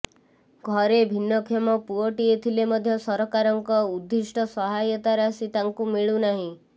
ଘରେ ଭିନ୍ନକ୍ଷମ ପୁଅଟିଏ ଥିଲେ ମଧ୍ୟ ସରକାରଙ୍କ ଉଦ୍ଦିଷ୍ଟ ସହାୟତା ରାଶି ତାଙ୍କୁ ମିଳୁନାହିଁ